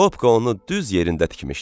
Bobka onu düz yerində tikmişdi.